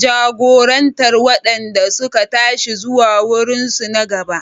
jagorantar waɗanda suka tashi zuwa wurinsu na gaba.